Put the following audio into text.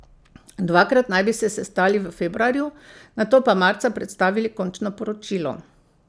Dvakrat naj bi se sestali v februarju, nato pa marca predstavili končno poročilo.